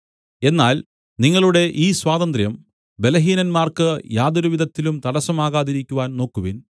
എന്നാൽ നിങ്ങളുടെ ഈ സ്വാതന്ത്ര്യം ബലഹീനന്മാർക്ക് യാതൊരു വിധത്തിലും തടസ്സം ആകാതിരിക്കുവാൻ നോക്കുവിൻ